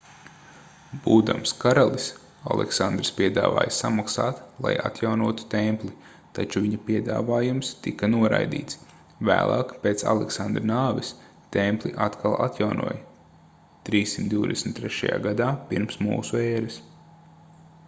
būdams karalis aleksandrs piedāvāja samaksāt lai atjaunotu templi taču viņa piedāvājums tika noraidīts vēlāk pēc aleksandra nāves templi atkal atjaunoja 323. gadā p.m.ē